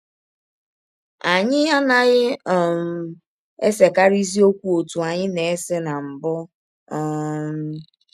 Anyị anaghị um esekarịzi ọkwụ ọtụ anyị na - ese na mbụ um. ”